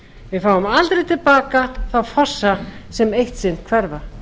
við fáum aldrei til baka þá fossa sem eitt sinn hverfa